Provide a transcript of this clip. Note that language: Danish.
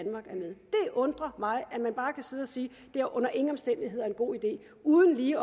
undrer mig at man bare kan sidde og sige det under ingen omstændigheder er en god idé uden lige